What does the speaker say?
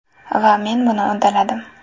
Va men buni uddaladim”.